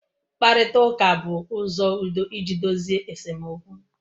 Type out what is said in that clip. Mkparịta ụka bụ ụzọ udo iji dozie esemokwu.